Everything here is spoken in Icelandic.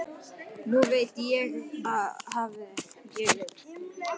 Nú veit ég hvað ég vil.